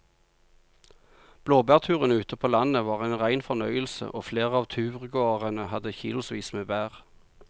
Blåbærturen ute på landet var en rein fornøyelse og flere av turgåerene hadde kilosvis med bær.